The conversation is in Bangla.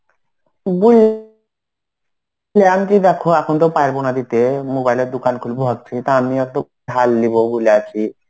anty দেখো এখন তো পারবনা দিতে mobile এর দোকান খুলবো ভাবছি তা আমিও একটু ধার লিব বলে আছি.